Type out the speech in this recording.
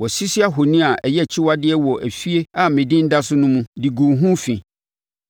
Wɔasisi ahoni a ɛyɛ akyiwadeɛ wɔ efie a me Din da so no mu, de guu ho fi.